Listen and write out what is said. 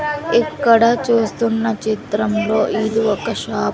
ఇక్కడ చూస్తున్న చిత్రంలో ఇది ఒక షాప్ .